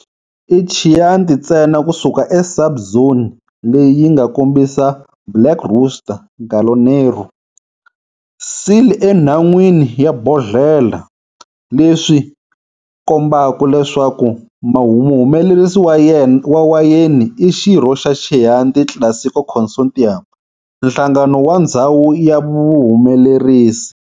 I Chianti ntsena kusuka eka sub-zone leyi yinga kombisa black rooster,"gallo nero", seal enhan'wini ya bodlhela, leswi kombaka leswaku muhumelerisi wa wayeni i xirho xa Chianti Classico Consortium, nhlangano wa ndzhawu ya vahumelerisi.